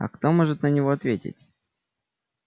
а кто может на него ответить